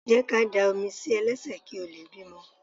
Jẹ́ ká dá omi sí ẹ lẹ́sẹ̀ kí o lè bímọ.